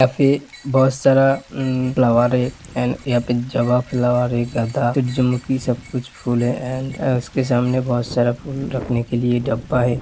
यहां पे बहुत सारा उमम फ्लावर है एंड यहां पे फ्लावर है सुज्जमुखी सब कुछ फूल हैं ऐंड इसके सामने बहुत सारा फूल रखने के लिए डब्बा है।